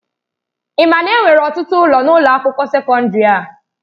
Ị ma na enwere ọtụtụ ụlọ n'ụlọ akwụkwọ sekọndrị a?